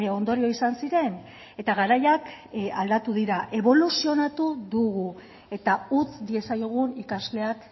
ondorio izan ziren eta garaiak aldatu dira eboluzionatu dugu eta utz diezaiogun ikasleak